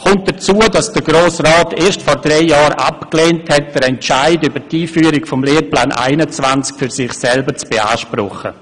Hinzu kommt, dass es der Grosse Rat erst vor drei Jahren abgelehnt hat, den Entscheid über die Einführung des Lehrplans 21 für sich selber zu beanspruchen.